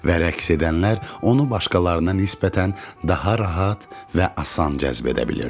Və rəqs edənlər onu başqalarına nisbətən daha rahat və asan cəzb edə bilirdilər.